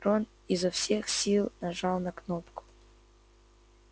рон изо всех сил нажал на кнопку